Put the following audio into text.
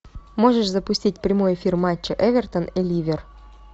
можешь запустить прямой эфир матча эвертон и ливер